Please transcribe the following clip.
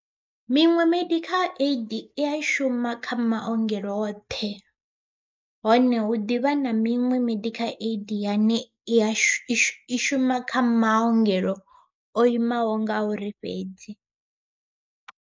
Miṅwe medical aid ia shuma kha maongelo oṱhe, hone hu ḓivha na miṅwe medical aid yane i ya shishi i shuma kha maongelo o imaho nga uri fhedzi.